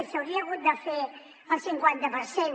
i s’hauria hagut de fer el cinquanta per cent